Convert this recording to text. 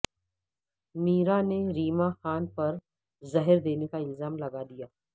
میرا نے ریما خان پر زہر دینے کا الزام لگا دیا